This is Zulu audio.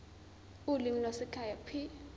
ulimi lwasekhaya p